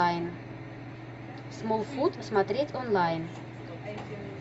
смолфут смотреть онлайн